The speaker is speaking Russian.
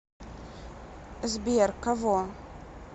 сбер кого